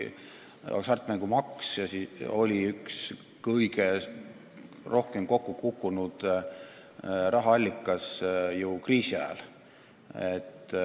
Hasartmängumaks oli üks kõige rohkem kokku kukkunud rahaallikaid kriisi ajal.